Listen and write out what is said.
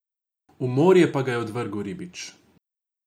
V morje pa ga je odvrgel ribič.